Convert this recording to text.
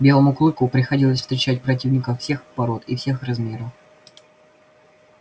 белому клыку приходилось встречать противников всех пород и всех размеров